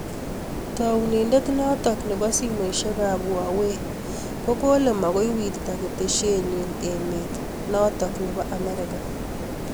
Taunindet notok nepoo simoshek ap huwawei kokalee makoi wirtaa keteshet nyiin emeet notok nepoo Amerika